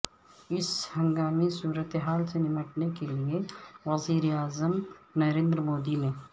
اس ہنگامی صورت حال سے نمٹنے کے لئے وزیر اعظم نریندرمودی نے